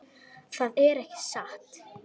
Það er ekki satt.